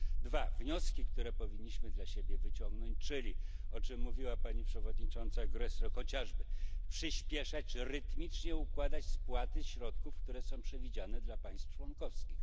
Po drugie, wnioski, które powinniśmy dla siebie wyciągnąć, czyli o czym mówiła pani przewodnicząca Gräßle chociażby przyśpieszać, rytmicznie układać spłaty środków, które są przewidziane dla państw członkowskich.